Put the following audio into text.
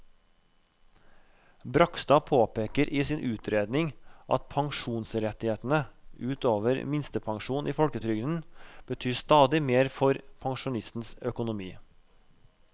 Bragstad påpeker i sin utredning at pensjonsrettighetene ut over minstepensjonen i folketrygden betyr stadig mer for pensjonistenes økonomi.